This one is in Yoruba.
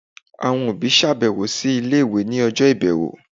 awọn obi ṣabẹwo si ile-iwe ni ọjọ ibẹwo.